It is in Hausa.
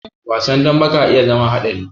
Wasan dambe ka iya zama haɗari.